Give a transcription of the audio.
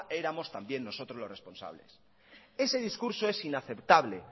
éramos también nosotros los responsables ese discurso es inaceptable